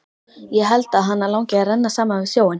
Ég held að hana langi að renna saman við sjóinn.